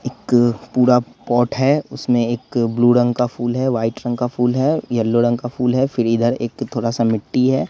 एक पूरा पॉट है उसमें एक ब्लू रंग का फूल है व्हाइट रंग का फूल है येलो रंग का फूल है फिर इधर एक थोड़ा सा मिट्टी है।